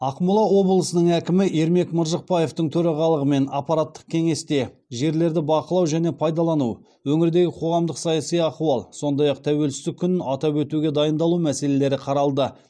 ақмола облысының әкімі ермек маржықпаевтың төрағалығымен аппараттық кеңесте жерлерді бақылау және пайдалану өңірдегі қоғамдық саяси ахуал сондай ақ тәуелсіздік күнін атап өтуге дайындалу мәселелері қаралды